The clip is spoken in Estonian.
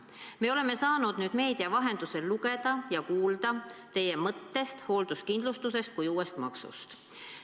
Me oleme saanud nüüd meedia vahendusel lugeda ja kuulda teie mõtetest hoolduskindlustuse kui uue maksu kohta.